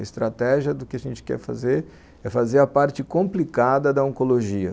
A estratégia do que a gente quer fazer é fazer a parte complicada da oncologia.